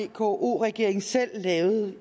vko regeringen selv lavede det